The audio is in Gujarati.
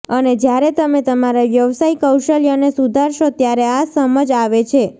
અને જ્યારે તમે તમારા વ્યવસાય કૌશલ્યોને સુધારશો ત્યારે આ સમજ આવે છે